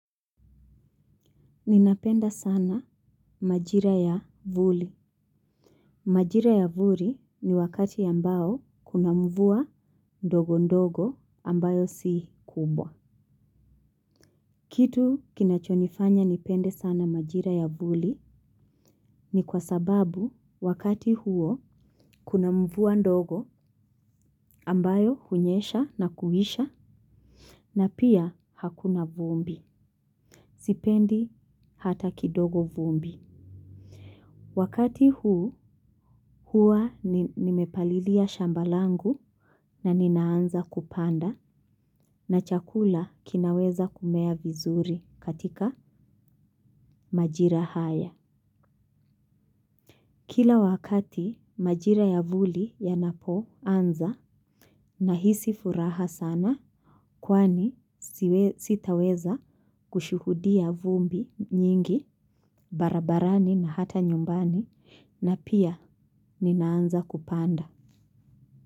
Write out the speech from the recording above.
Ninapenda sana majira ya vuli. Majira ya vuli ni wakati ambao kuna mvua ndogo ndogo ambayo si kubwa. Kitu kinachonifanya nipende sana majira ya vuli ni kwa sababu wakati huo kuna mvua ndogo ambayo hunyesha na kuisha. Na pia hakuna vumbi, sipendi hata kidogo vumbi. Wakati huu, hua nimepalilia shamba langu na ninaanza kupanda na chakula kinaweza kumea vizuri katika majira haya. Kila wakati majira ya vuli yanapo anza nahisi furaha sana kwani sitaweza kushuhudia vumbi nyingi barabarani na hata nyumbani na pia ninaanza kupanda.